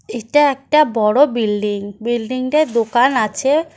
এটা একটা বড় বিল্ডিং বিল্ডিংটায় দোকান আছে।